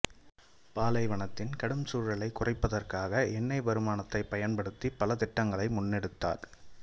பாலைவனத்தின் கடும் சூழலைக் குறைப்பதற்காக எண்ணெய் வருமானத்தைப் பயன்படுத்திப் பல திட்டங்களை முன்னெடுத்தார்